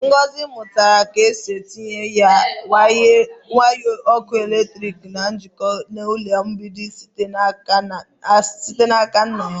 Ngọzi mụtara ka e si etinye waya ọkụ eletrik ka a na-ejikọta na-elu mgbidi site n'aka nna ya.